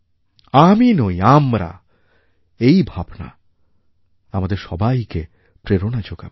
আমি নই আমরা এই ভাবনা আমাদের সবাইকে প্রেরণা যোগাবে